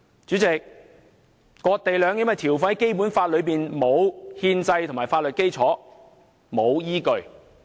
主席，割地和兩檢的條款在《基本法》內並沒有憲制和法律基礎，也沒有依據。